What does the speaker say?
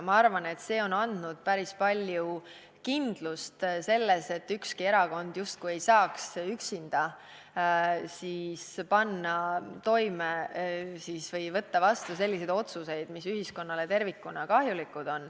Ma arvan, et see on andnud päris palju kindlust selles, et ükski erakond justkui ei saaks üksinda panna midagi toime või võtta vastu selliseid otsuseid, mis on ühiskonnale tervikuna kahjulikud.